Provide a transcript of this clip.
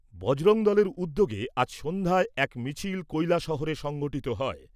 বজরং দলের উদ্যোগে আজ সন্ধ্যায় এক মিছিল কৈলাসহরে সংঘঠিত হয়।